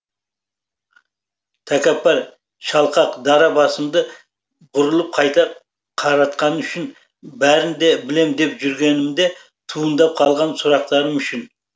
тәкаппар шалқақ дара басымды бұрылып қайта қаратқаның үшін бәрін де білем деп жүргенімде туындап қалған сұрақтарым үшін